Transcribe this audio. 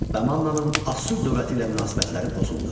Və Mannanın Asur dövləti ilə münasibətləri pozuldu.